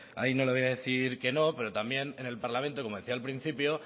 ahí no le voy a decir que no pero también en el parlamento como decía al principio